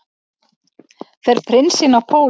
Fer prinsinn á pólinn